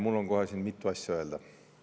Mul on kohe mitu asja öelda.